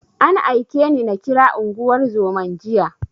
An aike ni na kira unguwar zoman jiya.